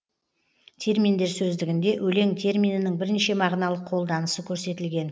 терминдер сөздігінде өлең терминінің бірнеше мағыналық қолданысы көрсетілген